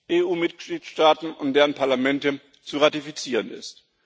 EU Mitgliedstaaten und deren Parlamente zu ratifizieren ist.